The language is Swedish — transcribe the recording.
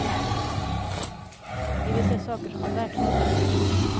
Vi vill se saker som de verkligen är.